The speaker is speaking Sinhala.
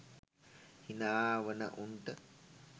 හිනා වන උන්ට